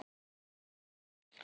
Þá það.